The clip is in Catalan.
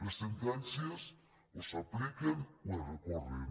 les sentències o s’apliquen o es recorren